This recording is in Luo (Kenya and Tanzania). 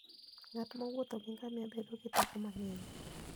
Ng'at mowuotho gi ngamia bedo gi teko mang'eny.